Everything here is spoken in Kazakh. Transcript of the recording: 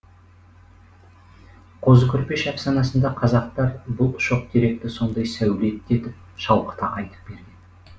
қозы көрпеш әфсанасында қазақтар бұл шоқтеректі сондай сәулетті етіп шалқыта айтып берген